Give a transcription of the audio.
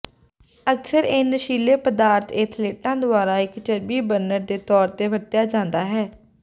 ਅਕਸਰ ਇਹ ਨਸ਼ੀਲੇ ਪਦਾਰਥ ਏਥਲੇਟਾਂ ਦੁਆਰਾ ਇੱਕ ਚਰਬੀ ਬਰਨਰ ਦੇ ਤੌਰ ਤੇ ਵਰਤਿਆ ਜਾਂਦਾ ਹੈ